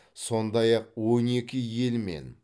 сондай ақ он екі елмен